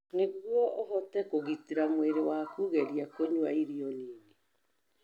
Nĩguo ũhote kũgitĩra mwĩrĩ waku, geria kũnyua irio nini.